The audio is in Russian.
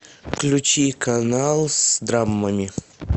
включи канал с драмами